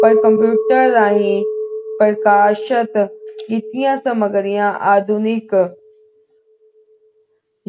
ਪਰ computer ਰਾਹੀਂ ਪ੍ਰਕਾਸ਼ਤ ਕੀਤਿਆਂ ਸਮੱਗਰੀਆਂ ਆਧੁਨਿਕ